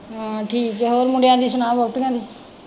ਹਾਂ ਠੀਕ ਹੈ ਹੋਰ ਮੁੰਡਿਆਂ ਦੀ ਸੁਣਾ ਵਹੁਟੀਆਂ ਦੀ।